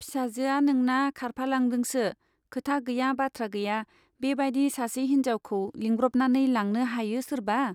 फिसाजोआ नोंना खारफा लांदोंसो, खोथा गैया बाथ्रा गैया बे बाइदि सासे हिन्जावखौ लिंब्रबनानै लांनो हायो सोरबा ?